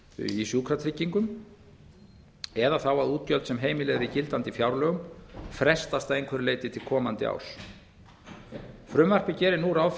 í sjúkratryggingum eða þá að útgjöld sem heimiluð eru í gildandi fjárlögum frestast að einhverju leyti til komandi árs frumvarpið gerir nú ráð